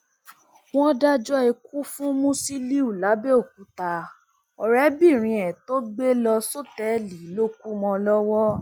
wọn dájọ ikú fún musiliu làbẹòkúta ọrẹbìnrin ẹ tó gbé lọ sọtẹẹlì ló kù mọ ọn lọwọ